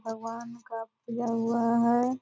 भगवान का पूजा हुआ हैं।